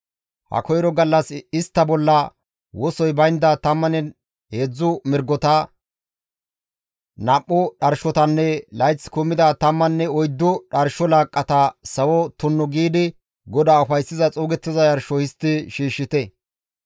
Ha koyro gallas istta bolla wosoy baynda 13 mirgota; nam7u dharshotanne layth kumida tammanne oyddu dharsho laaqqata sawo tunnu giidi GODAA ufayssiza xuugettiza yarsho histti shiishshite.